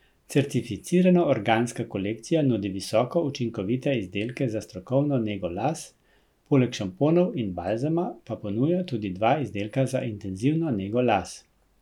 Certificirano organska kolekcija nudi visoko učinkovite izdelke za strokovno nego las, poleg šamponov in balzama pa ponuja tudi dva izdelka za intenzivno nego las.